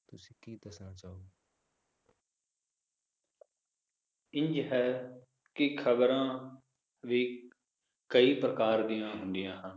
ਇੰਝ ਹੈ, ਕਿ ਖਬਰਾਂ ਵੀ ਕਈ ਪ੍ਰਕਾਰ ਦੀਆਂ ਹੁੰਦੀਆਂ ਹਨ